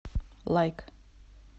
лайк